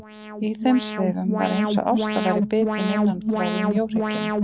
Í þeim svifum var eins og Ásta væri bitin innanfrá í mjóhrygginn.